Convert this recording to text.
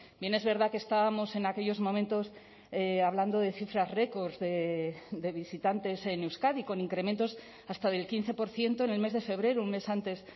bien es verdad que estábamos en aquellos momentos hablando de cifras récords de visitantes en euskadi con incrementos hasta del quince por ciento en el mes de febrero un mes antes